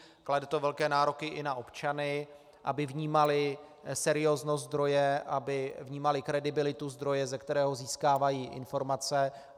Klade to velké nároky i na občany, aby vnímali serióznost zdroje, aby vnímali kredibilitu zdroje, ze kterého získávají informace.